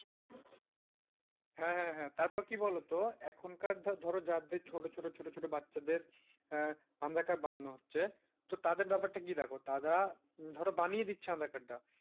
হ্যাঁ, হ্যাঁ, হ্যাঁ, তারপর কি বলতো এখনকার ধরো যাদের ছোট, ছোট, ছোট বাচ্চাদের aadhaar card বানানো হচ্ছে তো তাদের ব্যাপারটা কি দেখো তারা ধরো বানিয়ে দিচ্ছে aadhaar card টা।